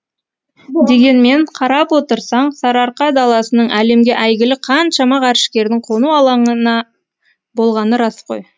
дегенмен қарап отырсаң сарыарқа даласының әлемге әйгілі қаншама ғарышкердің қону алаңына болғаны рас қой